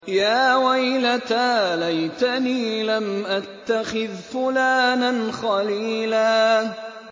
يَا وَيْلَتَىٰ لَيْتَنِي لَمْ أَتَّخِذْ فُلَانًا خَلِيلًا